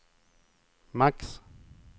max